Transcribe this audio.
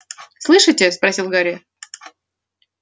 слышите спросил гарри